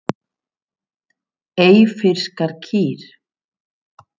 Eyfirskar kýr.